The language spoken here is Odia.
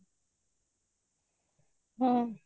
ହଁ